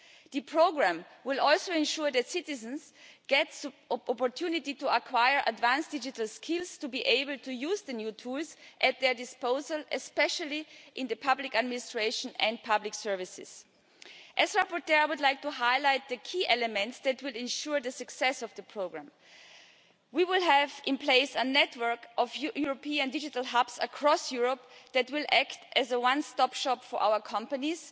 The programme will also ensure that citizens get the opportunity to acquire advanced digital skills to be able to use the new tools at their disposal, especially in the public administration and public services. As rapporteur, I would like to highlight the key elements that will ensure the success of the programme. We will have in place a network of European digital hubs across Europe that will act as a one stop shop for our companies